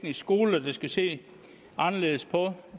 skoler der skal se anderledes på